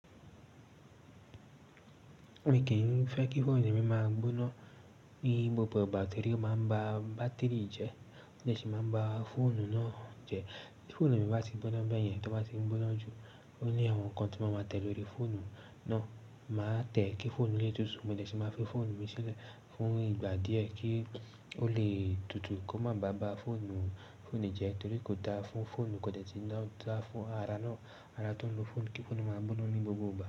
Mi kì í fẹ́ kí fóònù mi máa gbóná ní gbogbo ìgbà. Tori oo maa n bá bátírì jẹ, mo dẹ̀ tí máa ń ba fóònù náà jẹ. Tí fóònù mi bá ti gbóná bẹ́ẹ̀ yẹn, tí ó bá ti ń gbóná jù, ó ní àwọn nǹkan tí mo máa tẹ̀ lóri fóònù náà. Màá tẹ̀ ẹ́ kí fóònù lè tutù, mo dẹ̀ tí máa fi fóònù mi sílẹ̀ fún ìgbà díẹ̀ kí ó lè tutù kó má bá ba fóònù jẹ torí kò dáa fún fóònù kí ó dẹ̀ tí máa dáa fún ara náà, ara tó ń lo fóònù kí fóònù máa gbóná ní gbogbo ìgbà.